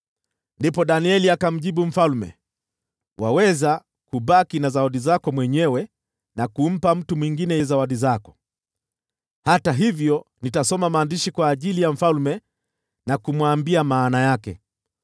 Ndipo Danieli akamjibu mfalme, “Waweza kubaki na zawadi zako mwenyewe na kumpa mtu mwingine zawadi zako. Hata hivyo, nitasoma maandishi kwa mfalme na kumwambia maana yake.